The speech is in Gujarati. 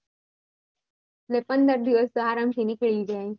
પંદર દિવસ તો આરામ થી નીકળી જાય